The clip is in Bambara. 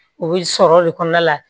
U bɛ sɔrɔ de kɔnɔna la